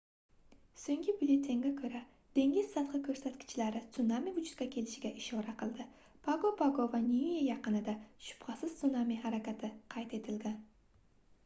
soʻngi byulletenga koʻra dengiz sathi koʻrsatkichlari sunami vujudga kelganiga ishora qildi pago pago va niue yaqinida shubhasiz sunami harakati qayd etilgan